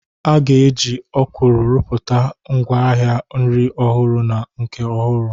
A ga-eji Okwulu rụpụta ngwaahịa nri ọhụrụ na nke ọhụrụ.